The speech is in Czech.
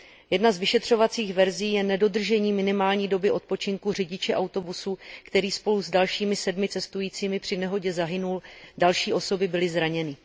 Jedna z vyšetřovacích verzí je nedodržení minimální doby odpočinku řidiče autobusu, který spolu s dalšími 7 cestujícími při nehodě zahynul, další osoby byly zraněny.